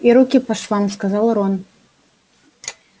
и руки по швам сказал рон